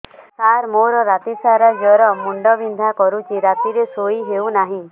ସାର ମୋର ରାତି ସାରା ଜ୍ଵର ମୁଣ୍ଡ ବିନ୍ଧା କରୁଛି ରାତିରେ ଶୋଇ ହେଉ ନାହିଁ